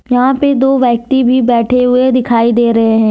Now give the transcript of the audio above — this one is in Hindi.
यहां पे दो व्यक्ति भी बैठे हुए दिखाई दे रहे हैं।